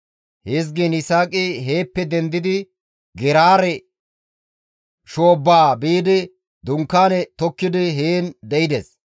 Hizgiin Yisaaqi heeppe dendidi Geraare shoobbaa biidi dunkaane tokkidi heen de7ides.